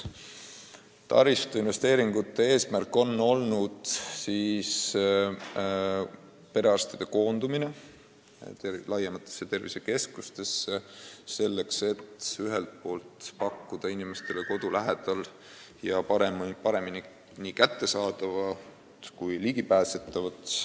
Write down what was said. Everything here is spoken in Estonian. Taristuinvesteeringute eesmärk on olnud perearstide koondumine suurematesse tervisekeskustesse, et pakkuda inimestele paremini kättesaadavat arstiabi kodu lähedal.